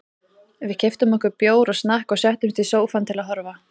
Við keyptum okkur bjór og snakk og settumst í sófann til að horfa.